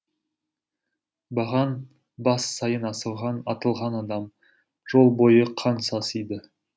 баған бас сайын асылған атылған адам жол бойы қан сасиды